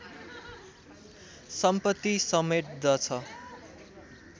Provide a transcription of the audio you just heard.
सम्पत्ति समेट्दछ